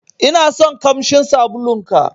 Inason ƙamshin sabulun ka.